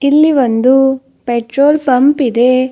ಇಲ್ಲಿ ಒಂದು petrol pump ಇದೆ.